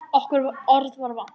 Okkur var orða vant.